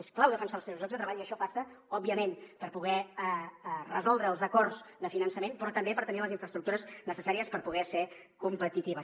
és clau defensar els seus llocs de treball i això passa òbviament per poder resoldre els acords de finançament però també per tenir les infraestructures necessàries perquè puguin ser competitives